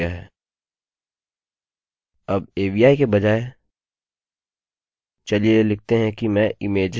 अब avi के बजाय चलिए लिखते हैं कि मैं images with png एक्सटेंशन बैनप्रतिबंध करना चाहता हूँ